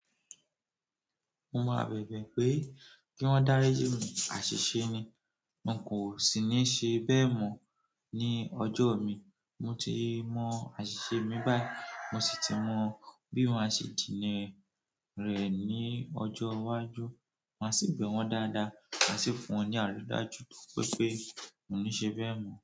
Mo máa bẹ̀bẹ̀ pé kí wọ́n dáríji mi, àṣìṣe ni. Mo kò sì ní ṣe bẹ́ẹ̀ mọ́ ní ọjọ́ mi. Mo ti mọ àṣìṣe mi báyìí, mo sì ti mọ bí wọ́n a ṣe jìnnà rẹ̀ ní ọjọ́ iwájú. Máa sì bẹ́ wọn dáadáa, máa sì fún wọn ní àrídájú tó wipé mo ní ṣe bẹ́ẹ̀ mọ́.